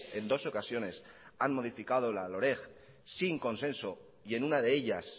en dos ocasiones han modificado la loreg sin consenso y en una de ellas